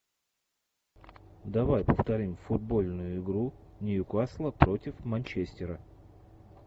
давай повторим футбольную игру ньюкасла против манчестера